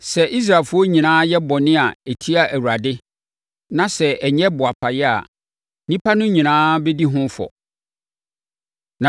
“ ‘Sɛ Israelfoɔ nyinaa yɛ bɔne a ɛtia Awurade, na sɛ ɛnyɛ boapa yɛ a, nnipa no nyinaa bɛdi ho fɔ.